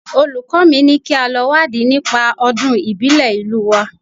Olùkọ́ mi ni kí a lọ wádìí nípa Ọdún ìbílẹ̀ ìlú wa